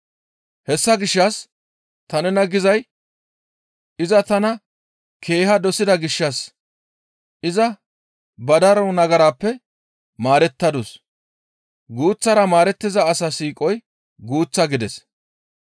«Hessa gishshas ta nena gizay iza tana keeha dosida gishshas iza ba daro nagarappe maarettadus; guuththara maarettiza asa siiqoykka guuththa» gides.